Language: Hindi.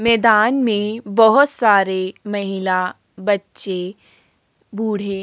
मेदान में बहोत सारे महिला बच्चे बूढ़े --